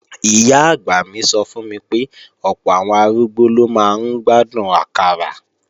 Ìyá-àgbà mi sọ fún mi pé ọ̀pọ̀ àwọn arúgbó ló máa ń gbádùn àkàrà